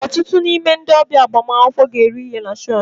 Ọtụtụ n'ime ndị ọbịa agbamakwụkwọ ga-eri ihe na chọọchị.